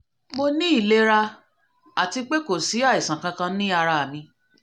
mo ní ìlera àti pé kò sí àìsàn kankan ní ara mi